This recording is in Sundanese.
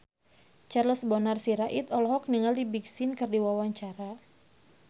Charles Bonar Sirait olohok ningali Big Sean keur diwawancara